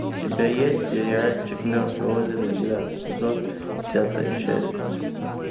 у тебя есть сериальчик мертвое озеро девятый сезон десятая часть